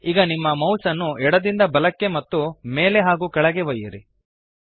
ಈಗ ನಿಮ್ಮ ಮೌಸ್ ಅನ್ನು ಎಡದಿಂದ ಬಲಕ್ಕೆ ಮತ್ತು ಮೇಲೆ ಹಾಗೂ ಕೆಳಗೆ ಒಯ್ಯಿರಿ